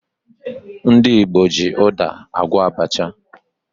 Ndị Igbo ji ụda agwọ abacha